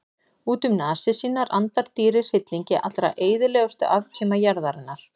Út um nasir sínar andar dýrið hryllingi allra eyðilegustu afkima jarðarinnar.